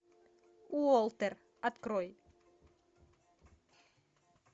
уолтер открой